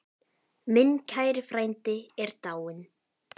Minn kæri frændi er dáinn.